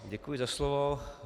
Děkuji za slovo.